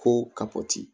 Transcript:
Ko ka bɔ ti